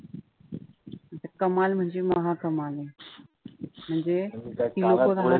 कमाल म्हणजे म्हणजे